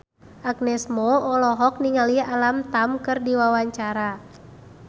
Agnes Mo olohok ningali Alam Tam keur diwawancara